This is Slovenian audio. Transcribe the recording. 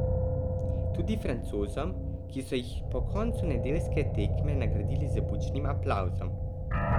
Tudi Francozom, ki so jih po koncu nedeljske tekme nagradili z bučnim aplavzom.